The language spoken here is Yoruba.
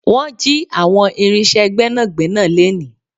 Wọn jì àwọn irinse Gbẹ́nàgbẹ́nà leni